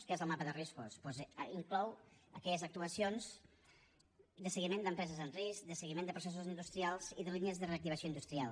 què és el mapa de riscos doncs inclou el que són actuacions de seguiment d’empreses en risc de seguiment de processos industrials i de línies de reactivació industrial